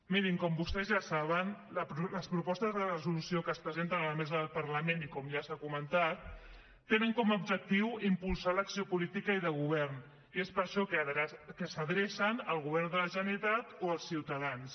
mirin com vostès ja saben les propostes de resolució que es presenten a la mesa del parlament i com ja s’ha comentat tenen com a objectiu impulsar l’acció política i de govern i és per això que s’adrecen al govern de la generalitat o als ciutadans